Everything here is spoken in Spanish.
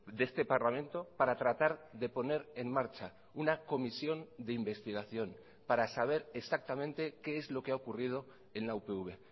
de este parlamento para tratar de poner en marcha una comisión de investigación para saber exactamente qué es lo que ha ocurrido en la upv